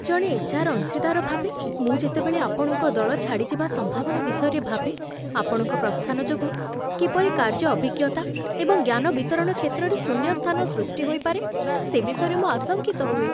ଜଣେ H R ଅଂଶୀଦାର ଭାବେ ମୁଁ ଯେତେବେଳେ ଆପଣଙ୍କ ଦଳ ଛାଡ଼ିଯିବା ସମ୍ଭାବନା ବିଷୟରେ ଭାବେ, ଆପଣଙ୍କ ପ୍ରସ୍ଥାନ ଯୋଗୁଁ କିପରି କାର୍ଯ୍ୟଅଭିଜ୍ଞତା ଏବଂ ଜ୍ଞାନ ବିତରଣ କ୍ଷେତ୍ରରେ ଶୂନ୍ୟସ୍ଥାନ ସୃଷ୍ଟି ହୋଇପାରେ, ସେ ବିଷୟରେ ମୁଁ ଆଶଙ୍କିତ ହୁଏ।